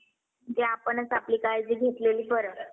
picture बघतोय मी आता चाललंय बागी two picture चांगला चालला आहे.